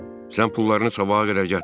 Sən pullarını sabaha qədər gətir.